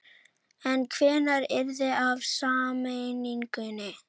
En hvenær yrði af sameiningunni?